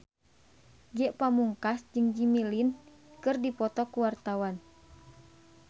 Ge Pamungkas jeung Jimmy Lin keur dipoto ku wartawan